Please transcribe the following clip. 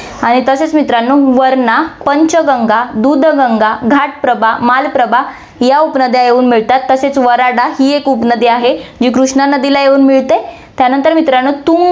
आणि तसेच मित्रांनो, वरणा, पंचगंगा, दूधगंगा, घाटप्रभा, मालप्रभा या उपनद्या येऊन मिळतात, तसेच वराडा ही एक उपनदी आहे, जी कृष्णा नदीला येऊन मिळते. त्यानंतर मित्रांनो, तुंग